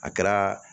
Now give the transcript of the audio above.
A kɛra